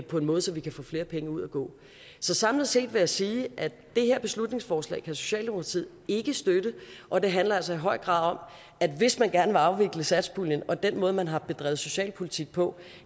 på en måde så vi kan få flere penge ud at gå så samlet set vil jeg sige at det her beslutningsforslag kan socialdemokratiet ikke støtte og det handler altså i høj grad om at hvis man gerne vil afvikle satspuljen og den måde man har bedrevet socialpolitik på